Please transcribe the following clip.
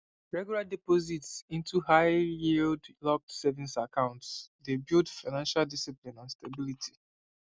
regular deposits into highyield locked savings accounts dey build financial discipline and stability